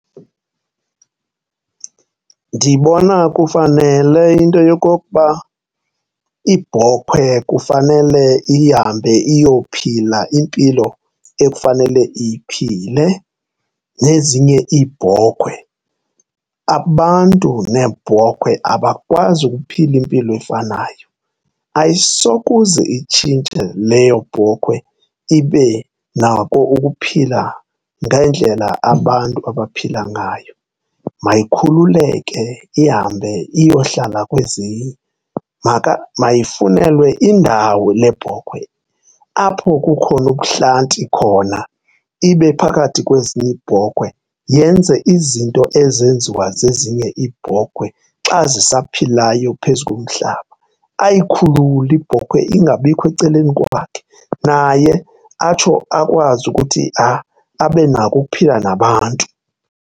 Ndibona kufanele into yokokuba ibhokhwe kufanele ihambe iyophila impilo efanele iyiphile nezinye iibhokhwe. Abantu neebhokhwe abakwazi ukuphila impilo efanayo, ayisokuze itshintshe leyo bhokhwe ibe nako ukuphila ngendlela abantu abaphila ngayo. Mayikhululeke ihambe iyohlala kwezinye, mayifunelwe indawo le bhokhwe apho kukhona ubuhlanti khona ibe phakathi kwezinye iibhokhwe, yenze izinto ezenziwa zezinye iibhokhwe xa zisaphilayo phezu komhlaba. Ayikhulule ibhokhwe ingabikho ecaleni kwakhe naye atsho akwazi ukuthi abe nako ukuphila nabantu.